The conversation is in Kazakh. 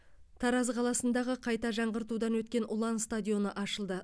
тараз қаласындағы қайта жаңғыртудан өткен ұлан стадионы ашылды